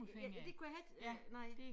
Ja det kunne jeg heller ikke øh nej